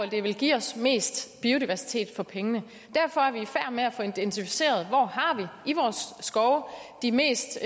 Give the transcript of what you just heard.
det vil give os mest biodiversitet for pengene derfor er vi i færd med at få identificeret hvor har de mest